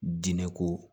Diinɛ ko